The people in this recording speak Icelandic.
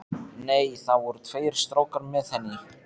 Nei, það voru tveir strákar með henni.